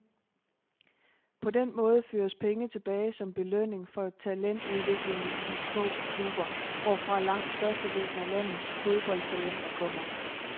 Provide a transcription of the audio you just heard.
På den måde føres penge tilbage som belønning for talentudviklingen i de små klubber, hvorfra langt størstedelen af landets foboldtalenter kommer.